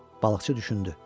Balıqçı düşündü.